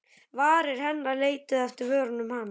Varir hennar leituðu eftir vörum hans.